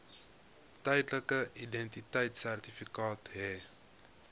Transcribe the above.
tydelike identiteitsertifikaat hê